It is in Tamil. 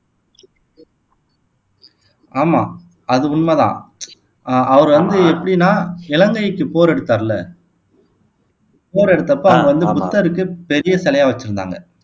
ஆமா அது உண்மை தான் அஹ் அவர் வந்து எப்படின்னா இலங்கைக்கு போர் எடுத்தார் இல்ல போர் எடுத்தப்போ அங்க வந்து புத்தர்க்கு பெரிய சிலையா வச்சிருந்தாங்க